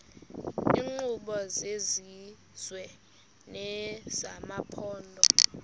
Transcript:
iinkqubo zesizwe nezamaphondo